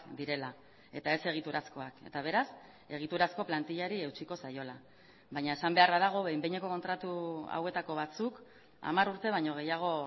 direla eta ez egiturazkoak eta beraz egiturazko plantilari eutsiko zaiola baina esan beharra dago behin behineko kontratu hauetako batzuk hamar urte baino gehiago